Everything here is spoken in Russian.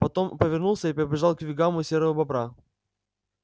потом повернулся и побежал к вигваму серого бобра